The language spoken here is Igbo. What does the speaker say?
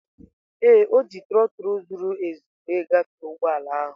Ee, o ji trotul zuru ezu wee gafee ụgbọ ala ahụ.